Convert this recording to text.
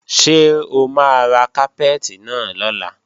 Ṣé o máa ra kápẹ́ẹ̀tì náà lọ́la?